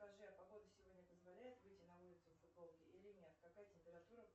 скажи а погода сегодня позволяет выйти на улицу в футболке или нет какая температура